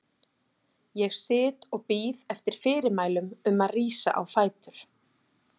Ég sit og bíð eftir fyrirmælum um að rísa á fætur.